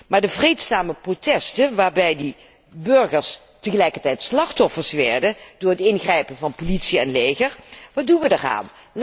Maar de vreedzame protesten, waarbij die burgers tegelijkertijd slachtoffers werden door het ingrijpen van politie en leger, wat doen wij daarmee?